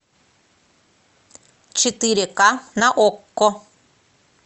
четыре ка на окко